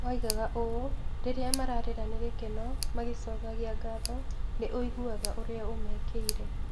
Oigaga ũũ: "Rĩrĩa mararĩra nĩ gĩkeno magicokagia ngatho, nĩ ũiguaga ũria ũmekĩire."